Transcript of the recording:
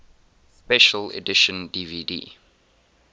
special edition dvd